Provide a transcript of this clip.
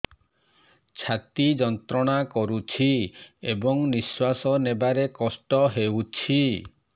ଛାତି ଯନ୍ତ୍ରଣା କରୁଛି ଏବଂ ନିଶ୍ୱାସ ନେବାରେ କଷ୍ଟ ହେଉଛି